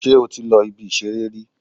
Sé o ti lọ si ibi ìṣeré rí